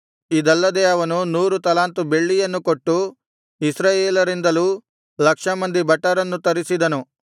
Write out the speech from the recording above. ಇದಲ್ಲದೆ ಅವನು ನೂರು ತಲಾಂತು ಬೆಳ್ಳಿಯನ್ನು ಕೊಟ್ಟು ಇಸ್ರಾಯೇಲರಿಂದಲೂ ಲಕ್ಷ ಮಂದಿ ಭಟರನ್ನು ತರಿಸಿದನು